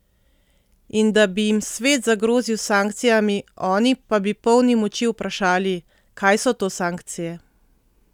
In da bi jim svet zagrozil s sankcijami, oni pa bi polni moči vprašali: "Kaj so to sankcije?